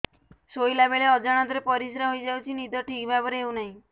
ଶୋଇଲା ବେଳେ ଅଜାଣତରେ ପରିସ୍ରା ହୋଇଯାଉଛି ନିଦ ଠିକ ଭାବରେ ହେଉ ନାହିଁ